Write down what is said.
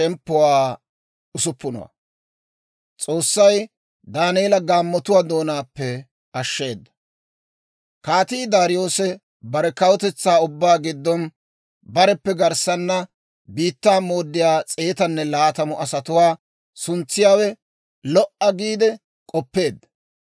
Kaatii Daariyoose bare kawutetsaa ubbaa giddon bareppe garssana biittaa mooddiyaa s'eetanne laatamu asatuwaa suntsiyaawe lo"a giide k'oppeedda.